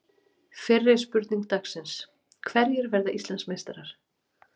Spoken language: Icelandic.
Fyrri spurning dagsins: Hverjir verða Íslandsmeistarar?